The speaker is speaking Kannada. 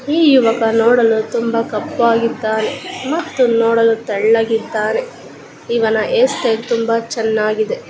ಈ ಯುವಕ ನೋಡಲು ತುಂಬಾ ಕಪ್ಪಗಿದ್ದಾನೆ ಮತ್ತು ನೋಡಲು ತೆಳ್ಳಗಿದ್ದಾನೆ. ಇವನ ಹೈರ್ಸ್ಟೈಲ್ ತುಂಬಾ ಚೆನ್ನಾಗಿದೆ.